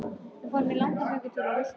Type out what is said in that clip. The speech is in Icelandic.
Við fórum í langan göngutúr og villtumst!